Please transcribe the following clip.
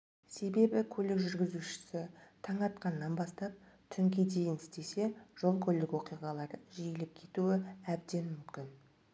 себебі көлік жүргізушісі таң атқаннан бастап түнге дейін істесе жол-көлік оқиғалары жиілеп кетуі әбден мүмкін